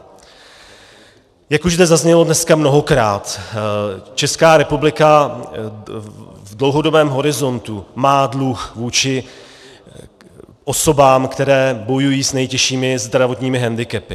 Jak už zde zaznělo dneska mnohokrát, Česká republika v dlouhodobém horizontu má dluh vůči osobám, které bojují s nejtěžšími zdravotními hendikepy.